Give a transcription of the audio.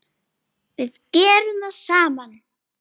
Við gerum það saman.